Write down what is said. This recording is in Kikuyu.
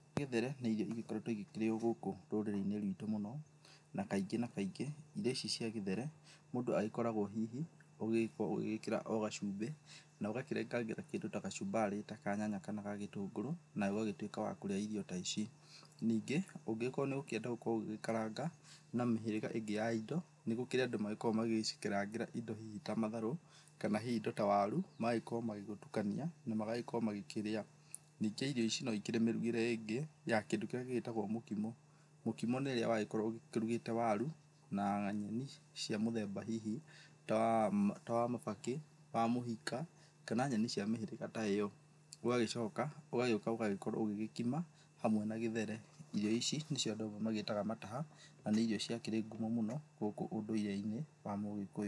Gĩthere nĩ irio ĩgĩkoretwo ĩkĩrĩyo gũkũ rũrĩrĩ-inĩ rwĩtũ mũno, na kaingĩ na kaingĩ irio ici cia gĩthere mũndũ agĩkoragwo hihi ũgĩkorwo ũgĩgĩkĩra o gacumbĩ na ũgakĩrengangĩra kĩndũ ta gacumbarĩ ta kanyanya kana ga gĩtũngũrũ nawe ũgagĩtuĩka wa kũrĩa irio ta ici. Ningĩ ũngĩgĩkorwo nĩ ũgũkĩenda gũkorwo ũgĩgĩkaranga na mĩhĩrĩga ĩngĩ ya ĩndo nĩ gũkĩrĩ andũ makoragwo magĩgĩcikarangĩra ĩndo hihi ta matharũ kana hihi ĩndo ta waru magagĩkorwo magĩgĩtukania na magagĩkorwo makĩria. Ningĩ irio ici no ĩkĩrĩ mĩrugĩre ĩngĩ ya kĩndũ kĩrĩa gĩgĩtagwo mũkimo. Mũkĩmo nĩ rĩrĩa wagĩkorwo ũgĩkĩrugĩte waru na nyeni cia mũthemba hihi ta wa mabakĩ, wa mũhika kana nyeni cia mĩhĩrĩga ta ĩno. Ũgagĩcoka ũgagĩũka ũgakorwo ũgĩkima hamwe na gĩthere. Irio ici nĩcio andũ amwe magĩtaga mataha, na nĩ irio ciakĩrĩ ngumo mũno gũkũ ũndũire-inĩ wa mũgĩkũyũ.